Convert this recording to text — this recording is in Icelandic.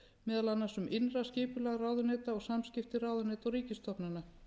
meðal annars um innra skipulag ráðuneyta og samskipta ráðuneyta og ríkisstofnana